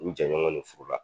N jɛɲɔgɔn ne furu la